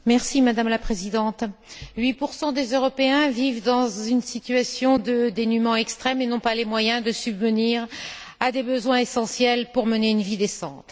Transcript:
Madame la Présidente, 8 des Européens vivent dans une situation de dénuement extrême et n'ont pas les moyens de subvenir à des besoins essentiels pour mener une vie décente.